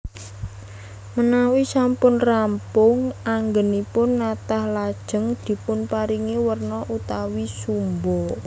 Menawi sampun rampung anggènipun natah lajeng dipunparingi werna utawi sumba